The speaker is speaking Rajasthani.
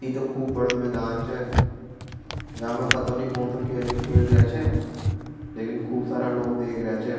ये तो खूब बड़ा मैदान छे जा मे पत्तो नि कुनसो खेल खेलरा छ खूब सारा लोग देख रा छ।